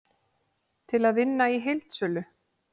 Til að vinna í heildsölu